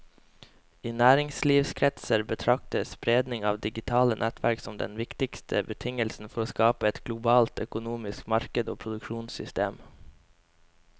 I næringslivskretser betraktes spredningen av digitale nettverk som den viktigste betingelsen for å skape et globalt økonomisk marked og produksjonssystem.